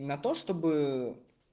на то чтобы